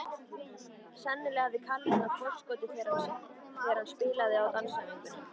Sennilega hafði Kalli náð forskoti þegar hann spilaði á dansæfingunni.